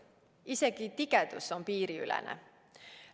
Isegi tigedus on piiriülene.